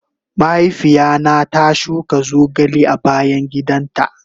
Mahaifiya na ta shuka zogale a bayan gidan ta.